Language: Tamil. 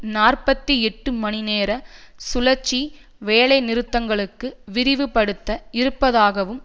நாற்பத்தி எட்டு மணி நேர சுழற்சி வேலைநிறுத்தங்களுக்கு விரிவுபடுத்த இருப்பதாகவும்